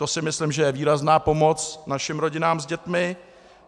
To si myslím, že je výrazná pomoc našim rodinám s dětmi.